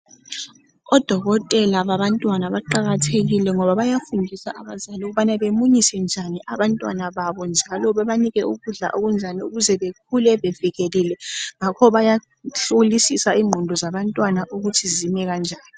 odokotela babantwana baqakathekile ngoba bayafundisa abazali ukuba bemunyise njani abantwana babo njalo bebanike ukudla okunjani ukuze bakhule bevikelike ngakho baya hlolisissa inqondo zabantwana ukuthi zimi njani